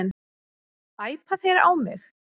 Æpa þeir á mig?